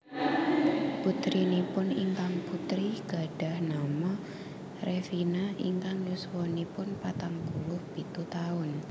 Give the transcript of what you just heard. Putrinipun ingkang putri gadhah nama Revina ingkang yuswanipun patang puluh pitu taun